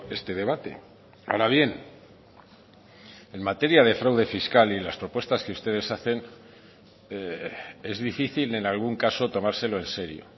este debate ahora bien en materia de fraude fiscal y las propuestas que ustedes hacen es difícil en algún caso tomárselo en serio